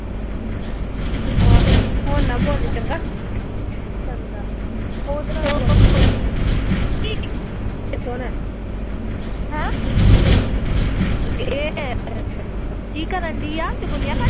ਹੁਣ ਨਾ ਬੋਲੀ ਚੰਗਾ ਸੁਣ ਕੀ ਕਰਨ ਡਈ ਆ ਚੁਗਲੀਆਂ ਕਰਨ ਡਈ ਆ